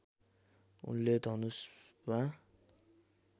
उनले धनुषमा